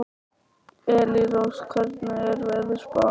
Elírós, hvernig er veðurspáin?